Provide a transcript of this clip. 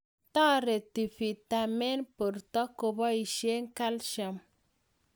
Tareti vitamin borto kopoishe calcium